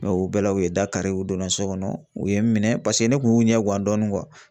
Mɛ u bɛɛ la u ye dakari u donna so kɔnɔ u ye n minɛ paseke ne kun y'u ɲɛ gan dɔɔni